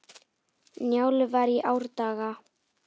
Njálu var í árdaga.